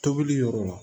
Tobili yɔrɔ